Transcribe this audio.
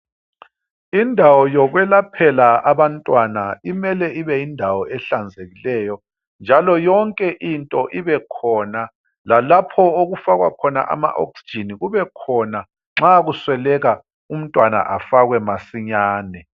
Indawo yokwelaphela abantwana imele ibe yindawo ehlanzekileyo njalo yonke into ibekhona lalapho okufakwa khona ama 'oxygen' kube khona nxa kusweleka umntwana afakwe masinyane.